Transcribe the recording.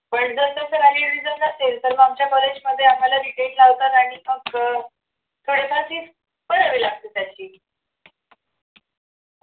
पण जर तसं valid reason जर नसेल तर मग आमच्या college मध्ये आम्हाला reject लावतात आणि मग थोडेफार fees भरावी लागते त्याची